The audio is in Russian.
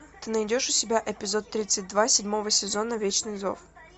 ты найдешь у себя эпизод тридцать два седьмого сезона вечный зов